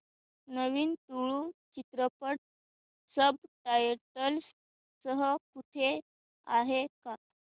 नवीन तुळू चित्रपट subtitles सह कुठे आहे का